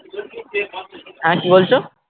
হ্যাঁ কি বলছো?